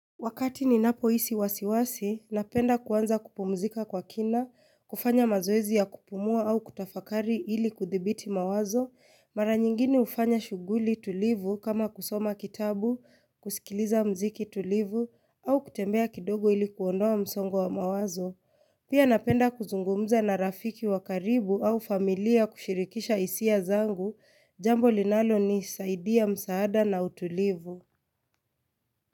Wakati ninapohisi wasiwasi, napenda kuanza kupumzika kwa kina, kufanya mazoezi ya kupumua au kutafakari ili kudhibiti mawazo, mara nyingine ufanya shughuli tulivu kama kusoma kitabu, kusikiliza mziki tulivu, au kutembea kidogo ili kuondoa msongo wa mawazo. Pia napenda kuzungumza na rafiki wa karibu au familia kushirikisha hisia zangu, jambo linalo nisaidia msaada na utulivu.